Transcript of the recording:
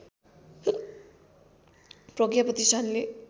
प्रज्ञा प्रतिष्ठानले